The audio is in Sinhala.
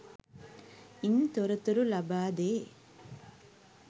ඉන් තොරතුරු ලබාදේ.